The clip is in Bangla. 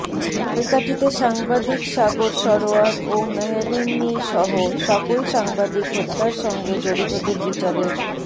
ঝালকাঠিতে সাংবাদিক সাগর সরোয়ার ও মেহেরুন রুনিসহ সকল সাংবাদিক হত্যার সঙ্গে জড়িতদের বিচারের